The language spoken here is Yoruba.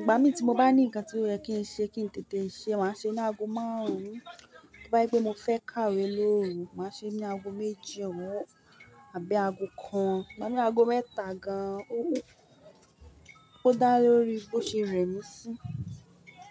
ìgbà mi tí mo bá ní ǹkan tí ó yẹ kí n ṣe kí n tètè ṣe, màá ṣe ní ago márùn-ún, tí ó bá gbé mo fẹ́ kàwé lọ́ọ̀rẹ́, màá ṣe ní ago méjì ọwọ́ àbí ago kan, màá ní ago mẹ́ta gan-an, ó dá lórí bó ṣe rẹ mí sí.